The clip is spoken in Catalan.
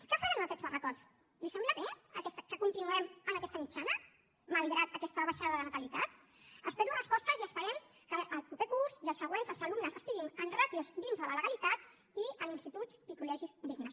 què faran amb aquests barracots li sembla bé que continuem amb aquesta mitjana malgrat aquesta baixada de natalitat espero resposta i esperem que el proper curs i els següents els alumnes estiguin en ràtios dins de la legalitat i en instituts i col·legis dignes